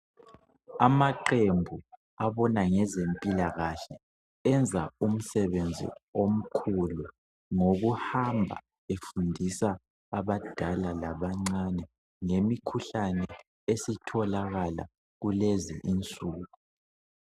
Amaqembu abona ngezempilakahle enza umsebenzi omkhulu ngokuhamba efundisa abadala labancane ngemikhuhlane esitholakala kulezi insuku.